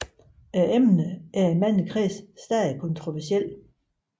Emnet er i mange kredse stadig kontroversielt